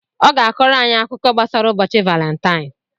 ọ ga-akọrọ anyị akụkọ gbasara ụbọchị Valentaịn.